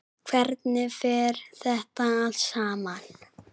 Hvernig fer þetta allt saman?